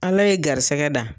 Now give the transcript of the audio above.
Ala ye garisɛgɛ da.